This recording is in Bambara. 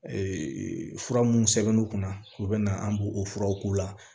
fura mun sɛbɛn'u kunna u bɛ na an b'u furaw k'u la